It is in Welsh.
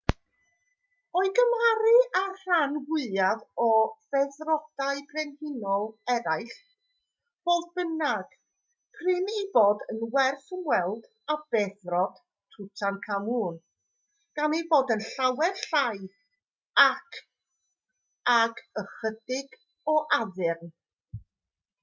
o'i gymharu â'r rhan fwyaf o feddrodau brenhinol eraill fodd bynnag prin ei bod yn werth ymweld â beddrod tutankhamun gan ei fod yn llawer llai ac ag ychydig o addurn